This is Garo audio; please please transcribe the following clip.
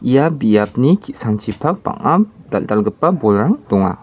ia biapni ki·sangchipak bang·a dal·dalgipa bolrang donga.